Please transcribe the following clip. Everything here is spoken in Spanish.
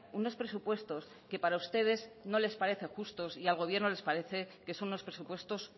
unos presupuestos que para ustedes no les parecen justos y al gobierno le parece que son unos presupuestos